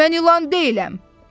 Mən ilan deyiləm!